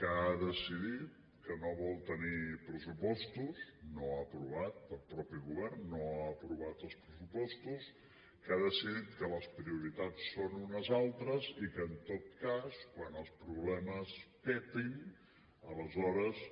que ha decidit que no vol tenir pressupostos no ha aprovat el mateix govern els pressupostos que ha decidit que les prioritats són unes altres i que en tot cas quan els problemes petin aleshores